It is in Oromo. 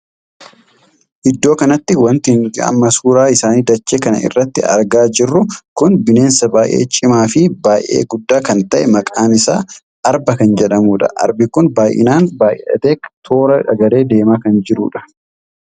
Iddoo kanatti wanti nuti amma suuraa isaanii dachee kana irratti argaa jirru kun bineensa baay'ee cimaa fin baay'ee guddaa kan tahee maqaan isaa argaa kan jedhamuudha. arbi kun baay'inaan baay'atee toora galee adeemaa kan jirtudha.